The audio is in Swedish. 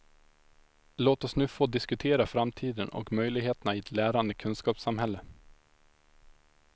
Låt oss nu få diskutera framtiden och möjligheterna i ett lärande kunskapssamhälle.